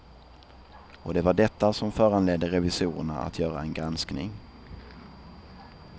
Och det var detta som föranledde revisorerna att göra en granskning.